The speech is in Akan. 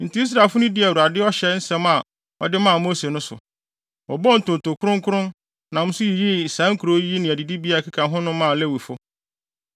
Enti Israelfo no dii Awurade ɔhyɛ nsɛm a ɔde maa Mose no so. Wɔbɔɔ ntonto kronkron, nam so yiyii saa nkurow yi ne adidibea a ɛkeka ho maa Lewifo.